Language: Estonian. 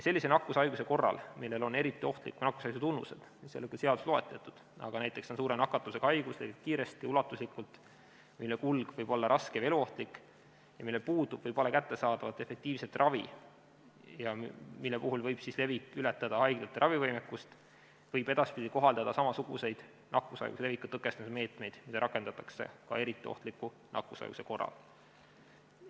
Sellise nakkushaiguse korral, millel on eriti ohtliku nakkushaiguse tunnused – need ei ole küll seaduses loetletud, näiteks on see suure nakatuvusega haigus, mis levib kiiresti ja ulatuslikult, selle kulg võib olla raske või eluohtlik ja sellel puudub või pole kättesaadavat efektiivset ravi ja selle levik võib ületada haiglate ravivõimekust –, võib edaspidi kohaldada samasuguseid nakkushaiguse leviku tõkestamise meetmeid, mida rakendatakse ka eriti ohtliku nakkushaiguse korral.